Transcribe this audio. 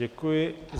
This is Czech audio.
Děkuji.